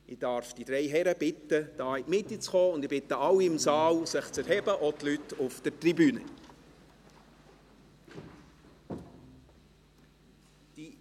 Ich darf die drei Herren bitten, in die Mitte zu kommen, und bitte alle im Saal, auch die Leute auf der Tribüne, sich zu erheben.